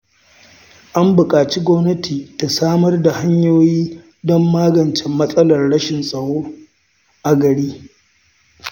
An buƙaci gwamnati ta samar da hanyoyi don magance matsalar rashin tsaro a gari.